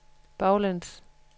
baglæns